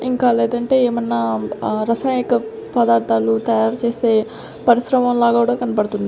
ఇంకా లేదంటే ఏమన్నా ఆహ్ రసాయక పదార్థాలు తయారు చేస్తే పరిశ్రమం లా గూడా కన్పడ్తుంది.